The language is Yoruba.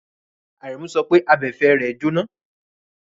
Àrẹ̀mú sọ pé abẹ̀fẹ̀ rẹ jóná.